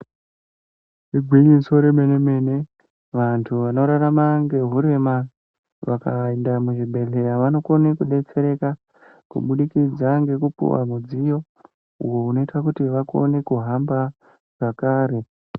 Igwinyiso remene mene vantu vanorarama ngehurema vakainda muzvibhedhleya vanokone kudetsereka kubudikidza ngekupuwa mudziyo uyo unoita kuti vakone kuhamba zvakare.